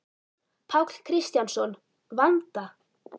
Páll Kristjánsson: Vanda?